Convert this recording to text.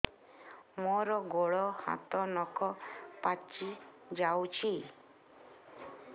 ମୋର ଗୋଡ଼ ହାତ ନଖ ପାଚି ଯାଉଛି